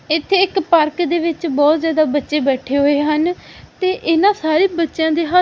ਇੱਥੇ ਇੱਕ ਪਾਰਕ ਦੇ ਵਿੱਚ ਬਹੁਤ ਜਿਆਦਾ ਬੱਚੇ ਬੈਠੇ ਹੋਏ ਹਨ ਤੇ ਇਹਨਾਂ ਸਾਰੇ ਬੱਚਿਆਂ ਦੇ ਹੱਥ--